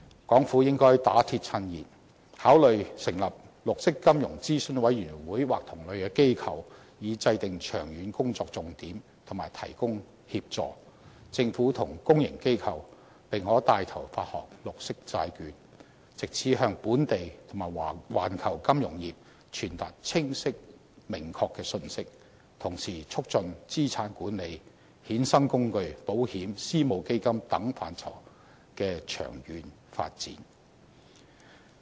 港府應該打鐵趁熱，考慮成立綠色金融諮詢委員會或同類機構，以制訂長遠工作重點及提供協助，政府及公營機構並可牽頭發行綠色債券，藉此向本地及環球金融業傳達清晰明確的信息，同時促進資產管理、衍生工具、保險、私募基金等範疇的長遠發展。